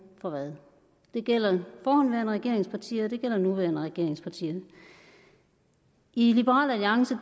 for hvad det gælder forhenværende regeringspartier og det gælder nuværende regeringspartier i liberal alliance